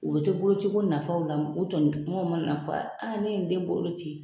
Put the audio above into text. O bɛ to boloci ko nafaw la o tɔɲɔgɔnw mana na fɔ ne ye in den bolo ci.